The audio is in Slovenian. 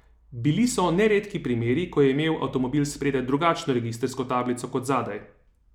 Bili so neredki primeri, ko je imel avtomobil spredaj drugačno registrsko tablico kot zadaj.